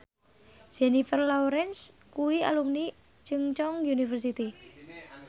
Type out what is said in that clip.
Jennifer Lawrence kuwi alumni Chungceong University